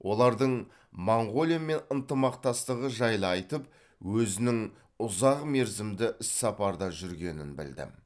олардың моңғолиямен ынтымақтастығы жайлы айтып өзінің ұзақ мерзімді іссапарда жүргенін білдім